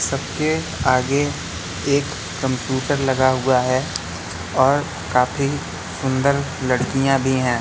सब के आगे एक कंप्यूटर लगा हुआ है और काफी सुंदर लड़कियां भी हैं।